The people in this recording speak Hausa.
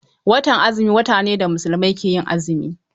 Watan azumi wata ne da Musulmai ke azumi.